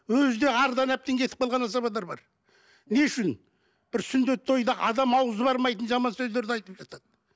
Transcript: өзі де ардан әбден кетіп қалған азаматтар бар не үшін бір сүндет тойды адам ауызы бармайтын жаман сөздерді айтып жатады